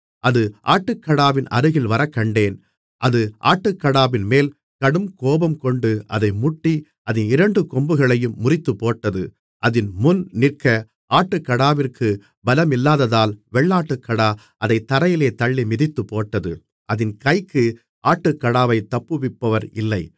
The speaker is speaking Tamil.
அது ஆட்டுக்கடாவின் அருகில் வரக்கண்டேன் அது ஆட்டுக்கடாவின்மேல் கடுங்கோபங்கொண்டு அதை முட்டி அதின் இரண்டு கொம்புகளையும் முறித்துப்போட்டது அதின் முன் நிற்க ஆட்டுக்கடாவிற்குப் பலமில்லாததால் வெள்ளாட்டுக்கடா அதைத் தரையிலே தள்ளி மிதித்துப்போட்டது அதின் கைக்கு ஆட்டுக்கடாவைத் தப்புவிப்பவர் இல்லை